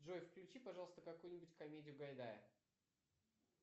джой включи пожалуйста какую нибудь комедию гайдая